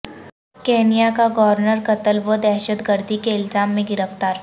Kenya کا governor قتل و دہشت گردی کے الزام میں گرفتار